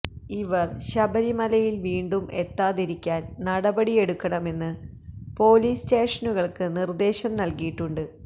ഇവര് ശബരിമലയില് വീണ്ടും എത്താതിരിക്കാന് നടപടിയെടുക്കണമെന്ന് പോലീസ് സ്റ്റേഷനുകള്ക്ക് നിര്ദേശം നല്കിയിട്ടുണ്ട്